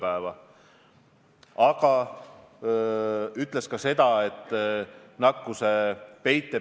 Te viitasite erinevatele sõnumitele, mis on tulnud poliitikutelt, ja nimetasite konkreetselt siseministrit.